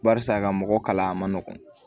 Barisa ka mɔgɔ kala a ma nɔgɔn